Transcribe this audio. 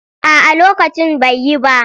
A'a lokacin bai yi ba.